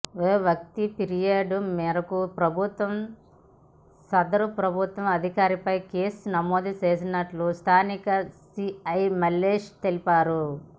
ఓ వ్యక్తి ఫిర్యాదు మేరకు ప్రభుత్వ సదరు ప్రభుత్వ అధికారిపై కేసు నమోదు చేసినట్లు స్థానిక సీఐ మల్లేష్ తెలిపారు